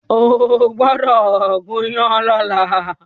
Ó gbọ́dọ̀ gúnyán lọ́la!